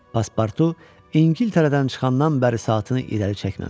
Paspartu İngiltərədən çıxandan bəri saatını irəli çəkməmişdi.